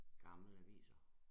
Gamle aviser